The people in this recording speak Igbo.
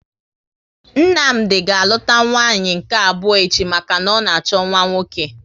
Nnamdi ga aluta nwanyị nke abụọ echi maka na ọ na achọ nwa nwoke